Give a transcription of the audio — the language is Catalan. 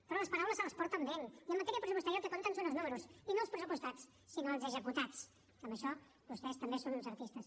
però les paraules se les emporta el vent i en matèria pressupostària el que compta són els números i no els pressupostats sinó els executats que en això vostès també són uns artistes